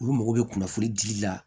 Olu mago bɛ kunnafoni dili la